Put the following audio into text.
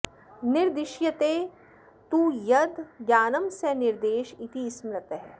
निर्दिश्यते तु यद् ज्ञानं स निर्देश इति स्मृतः